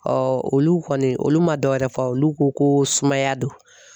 olu kɔni olu ma dɔwɛrɛ fɔ olu ko ko sumaya don